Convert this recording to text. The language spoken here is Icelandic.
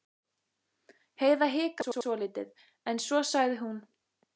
Heiða hikaði svolítið en svo sagði hún